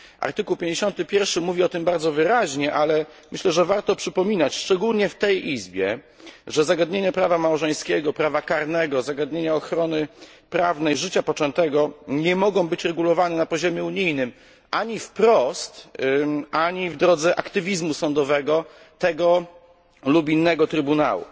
Artykuł 51 mówi o tym bardzo wyraźnie, ale myślę, że warto przypominać szczególnie w tej Izbie, że zagadnienia prawa małżeńskiego, prawa karnego, zagadnienia ochrony prawnej życia poczętego nie mogą być regulowane na poziomie unijnym, ani wprost ani w drodze aktywizmu sądowego tego lub innego trybunału.